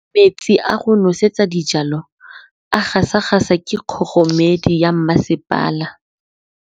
Metsi a go nosetsa dijalo a gasa gasa ke kgogomedi ya masepala.